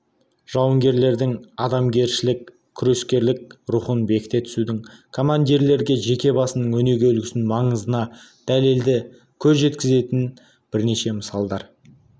жауынгерлердің адамгершілік күрескерлік рухын бекіте түсудегі командирлердің жеке басының өнеге үлгісінің маңызына дәлелді көз жеткізетін бірнеше мысалдар